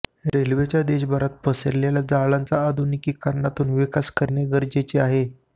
रेल्वेच्या देशभरात पसरलेले जाळ्यांचा आधुनिकीकरणातून विकास करणे गरजेचे आहे